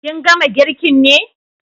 Kin gama girkin ne?